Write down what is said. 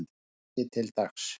frá degi til dags